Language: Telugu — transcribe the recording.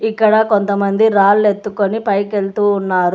ఇక్కడ కొంతమంది రాళ్ళు ఎత్తుకొని పైకెళ్తూ ఉన్నారు.